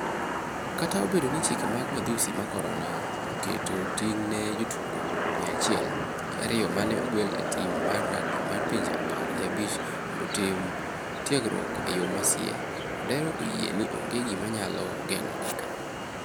Kata obedo ni chike mag madhusi ma Corona oketo ting' ne jotugo mia achiel gi ariyo ma ne ogwel e tim mar rugby mar pinje apar gi abich mondo otim tiegruok e yo masie, Odera oyie ni onge gima nyalo geng'ogi ka.